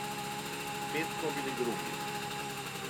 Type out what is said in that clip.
Spet smo bili drugi.